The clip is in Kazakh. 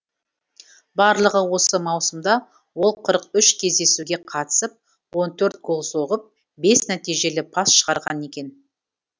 барлығы осы маусымда ол қырық үш кездесуге қатысып он төрт гол соғып бес нәтижелі пас шығарған екен